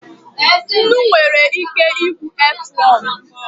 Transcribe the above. Nnu nwere ike igbu earthworm.